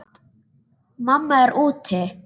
Mamma er úti.